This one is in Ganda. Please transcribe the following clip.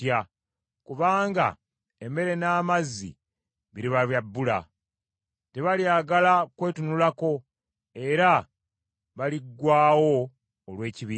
kubanga emmere n’amazzi biriba bya bbula. Tebalyagala kwetunulako, era baliggwaawo olw’ekibi kyabwe.”